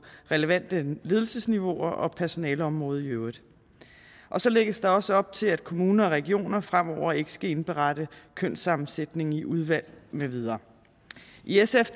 relevante ledelsesniveauer og personaleområdet i øvrigt så lægges der også op til at kommuner og regioner fremover ikke skal indberette kønssammensætningen i udvalg med videre i sf